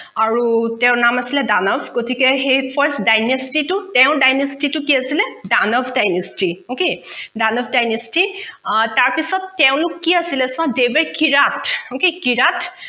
আৰু তেওঁৰ নাম আছিলে দানৱ গতিকে সেই dynasty তো তেওঁৰ dynasty তো কি আছিলে Danav dynasty okay Danav dynasty অ তাৰপিছত তেওঁলোক কি আছিলে চোৱা they were a qirat